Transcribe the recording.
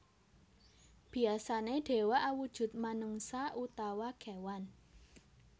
Biyasané dewa awujud menungsa utawa kéwan